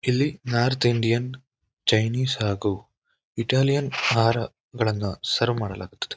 ಇಲ್ಲಿ north Indian Chinese ಹಾಗೂ Italian ಆಹಾರ ಸರ್ವ್ ಮಾಡಲಾಗುತ್ತದೆ.